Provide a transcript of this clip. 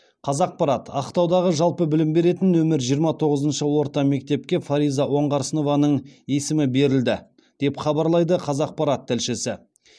қазақпарат ақтаудағы жалпы білім беретін нөмірі жиырма тоғызыншы орта мектепке фариза оңғарсынованың есімі берілді деп хабарлайды қазақпарат тілшісі